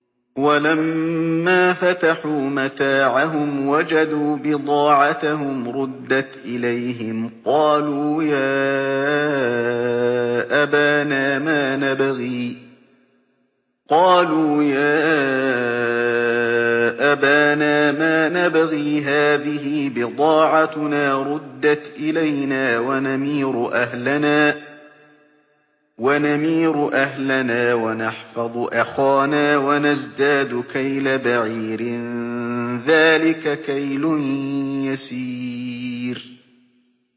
وَلَمَّا فَتَحُوا مَتَاعَهُمْ وَجَدُوا بِضَاعَتَهُمْ رُدَّتْ إِلَيْهِمْ ۖ قَالُوا يَا أَبَانَا مَا نَبْغِي ۖ هَٰذِهِ بِضَاعَتُنَا رُدَّتْ إِلَيْنَا ۖ وَنَمِيرُ أَهْلَنَا وَنَحْفَظُ أَخَانَا وَنَزْدَادُ كَيْلَ بَعِيرٍ ۖ ذَٰلِكَ كَيْلٌ يَسِيرٌ